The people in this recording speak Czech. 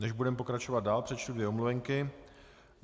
Než budeme pokračovat dál, přečtu dvě omluvenky.